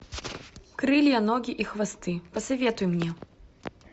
крылья ноги и хвосты посоветуй мне